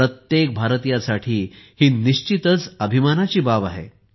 प्रत्येक भारतीयासाठी ही निश्चितच अभिमानाची बाब आहे